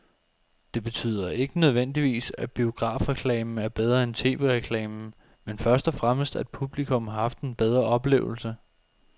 Det betyder ikke nødvendigvis, at biografreklamen er bedre end tv-reklamen, men først og fremmest at publikum har haft en bedre oplevelse.